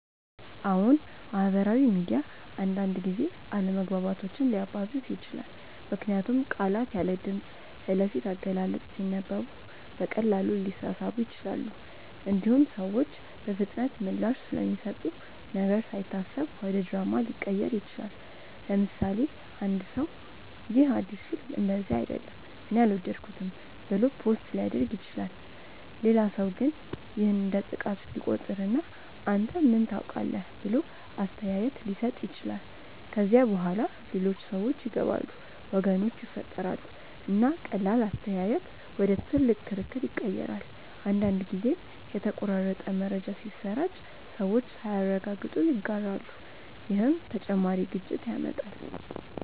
አዎን፣ ማህበራዊ ሚዲያ አንዳንድ ጊዜ አለመግባባቶችን ሊያባብስ ይችላል። ምክንያቱም ቃላት ያለ ድምፅ፣ ያለ ፊት አገላለጽ ሲነበቡ በቀላሉ ሊሳሳቡ ይችላሉ። እንዲሁም ሰዎች በፍጥነት ምላሽ ስለሚሰጡ ነገር ሳይታሰብ ወደ ድራማ ሊቀየር ይችላል። ለምሳሌ፣ አንድ ሰው “ይህ አዲስ ፊልም እንደዚህ አይደለም እኔ አልወደድኩትም” ብሎ ፖስት ሊያደርግ ይችላል። ሌላ ሰው ግን ይህን እንደ ጥቃት ሊቆጥር እና “አንተ ምን ታውቃለህ?” ብሎ አስተያየት ሊሰጥ ይችላል። ከዚያ በኋላ ሌሎች ሰዎች ይገባሉ፣ ወገኖች ይፈጠራሉ፣ እና ቀላል አስተያየት ወደ ትልቅ ክርክር ይቀየራል። አንዳንድ ጊዜም የተቆራረጠ መረጃ ሲሰራጭ ሰዎች ሳያረጋግጡ ይጋራሉ፣ ይህም ተጨማሪ ግጭት ያመጣል።